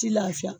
Ti lafiya